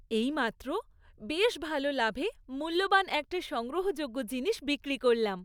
এইমাত্র বেশ ভালো লাভে মূল্যবান একটা সংগ্রহযোগ্য জিনিস বিক্রি করলাম।